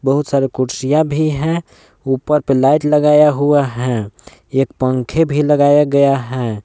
बहुत सारे कुर्सियां भी हैं ऊपर पे लाइट लगाया हुआ है एक पंखे भी लगाया गया है।